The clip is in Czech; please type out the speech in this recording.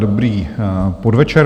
Dobrý podvečer.